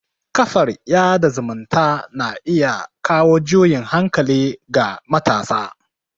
kafar yada zumunta na kawo juyin hankali ga matasa